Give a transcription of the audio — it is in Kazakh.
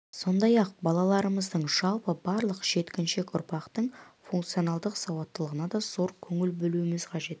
сондай-ақ балаларымыздың жалпы барлық жеткіншек ұрпақтың функционалдық сауаттылығына да зор көңіл бөлу қажет